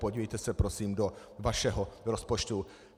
Podívejte se prosím do vašeho rozpočtu.